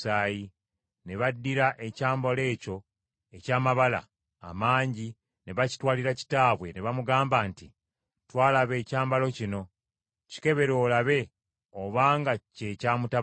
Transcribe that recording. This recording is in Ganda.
Ne baddira ekyambalo ekyo eky’amabala amangi ne bakitwalira kitaabwe ne bamugamba nti, “Twalaba ekyambalo kino, kikebere olabe obanga kye kya mutabani wo.”